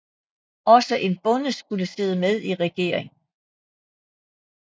Også en bonde skulle sidde med i regeringen